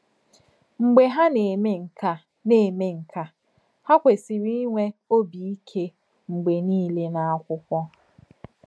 Mgbe hà nà-èmè nké à, nà-èmè nké à, hà kwèsìrì ínwè òbí íké mgbè nìlè n’ákwụ́kwọ̀.